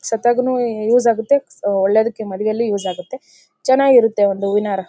ಸಟ್ಟಗನು use ಆಗುತ್ತೆ ಒಳ್ಳೇದಕ್ಕೆ ಮನೆಯಲ್ಲಿ ಯೂಸ್ ಆಗುತ್ತೆ ಚೆನ್ನಾಗಿರುತ್ತೆ ಒಂದು ಹೂವಿನ ಹಾರ .